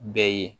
Bɛɛ ye